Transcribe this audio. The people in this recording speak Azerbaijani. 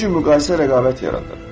Çünki müqayisə rəqabət yaradır.